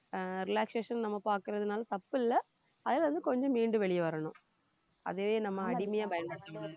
ஆஹ் relaxation நம்ம பாக்குறதுனால தப்பு இல்ல அதுல இருந்து கொஞ்சம் மீண்டு வெளிய வரணும் அதுவே நம்ம அடிமையா பயன்படுத்தகூடாது